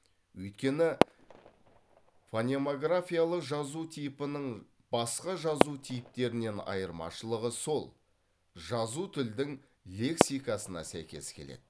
өйткені фонемографиялық жазу типінің басқа жазу типтерінен айырмашылығы сол жазу тілдің лексикасына сәйкес келеді